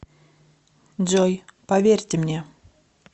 джой поверьте мне